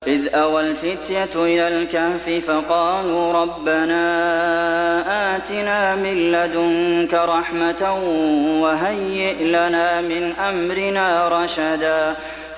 إِذْ أَوَى الْفِتْيَةُ إِلَى الْكَهْفِ فَقَالُوا رَبَّنَا آتِنَا مِن لَّدُنكَ رَحْمَةً وَهَيِّئْ لَنَا مِنْ أَمْرِنَا رَشَدًا